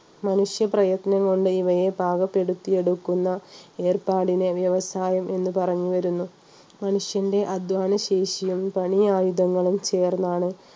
മനുഷ്യപ്രയത്നം കൊണ്ട് ഇവയെ പാകപ്പെടുത്തി എടുക്കുന്ന ഏർപ്പാടിനെ വ്യവസായം എന്ന് പറഞ്ഞു വരുന്നു മനുഷ്യൻറെ അധ്വാനശേഷിയും പണി ആയുധങ്ങളും ചേർന്നാണ്